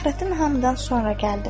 Fəxrəddin hamıdan sonra gəldi.